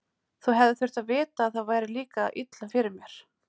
Þú hefðir þurft að vita að það færi líka illa fyrir mér.